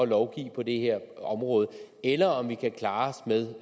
lovgive på det her område eller om vi kan klare os med